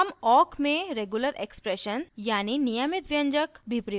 हम awk में regular expressions यानी नियमित व्यंजक भी प्रयोग कर सकते हैं